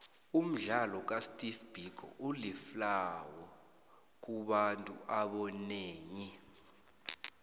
umdlalo kasteve biko uliflhawo kubantuabonenyi